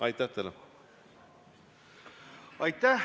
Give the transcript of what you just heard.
Aitäh!